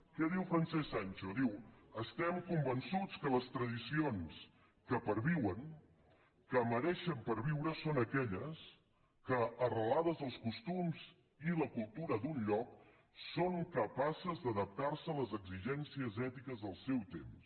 què diu francesc sancho diu estem convençuts que les tradicions que perviuen que mereixen perviure són aquelles que arrelades als costums i la cultura d’un lloc són capaces d’adaptar se a les exigències ètiques del seu temps